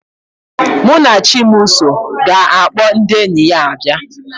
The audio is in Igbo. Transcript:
Munachimso ga-akpọ ndị enyi ya abịa